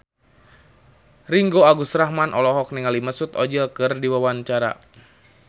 Ringgo Agus Rahman olohok ningali Mesut Ozil keur diwawancara